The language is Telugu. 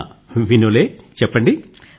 ఆ వినోలే చెప్పండి